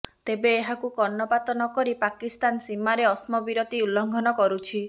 ତେବେ ଏହାକୁ କର୍ଣ୍ଣପାତ ନକରି ପାକିସ୍ତାନ ସୀମାରେ ଅତ୍ସବିରତି ଉଲଙ୍ଘନ କରୁଛି